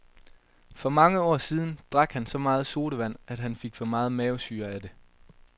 For mange år siden drak han så meget sodavand, at han fik for meget mavesyre af det.